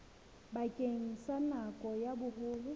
bakeng sa nako ya boholo